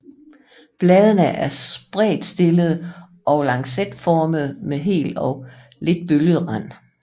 Bladene er spredtstillede og lancetformede med hel og lidt bølget rand